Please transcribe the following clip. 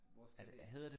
Hvor skal det hen